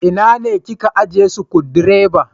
Ina ne ka ajiye Sukudireba?